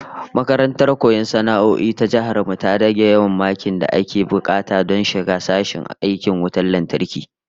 Makarantar koyon sana'o'i ta Jihar mu ta rage yawan makin da ake bukata don shiga sashen aikin wutan lantarki